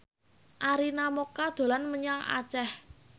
Arina Mocca dolan menyang Aceh